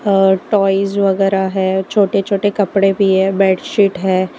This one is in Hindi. और टॉयज वगैरह है छोटे छोटे कपड़े भी है बेडशीट है।